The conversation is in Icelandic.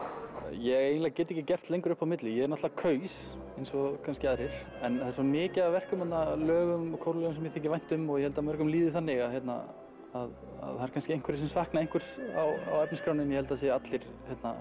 ég eiginlega get ekki gert lengur upp á milli ég náttúrulega kaus eins og kannski aðrir en það er svo mikið af verkum þarna lögum og kórlögum sem mér þykir vænt um og ég held að mörgum líði þannig að hérna að það eru kannski einhverjir sem sakna einhvers á efnisskránni en ég held að allir